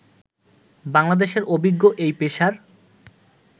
বাংলাদেশের অভিজ্ঞ এ পেসার